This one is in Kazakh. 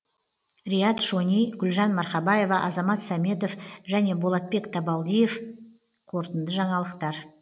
риат шони гүлжан марқабаева азамат сәметов және болотбек табалдиев қорытынды жаңалықтар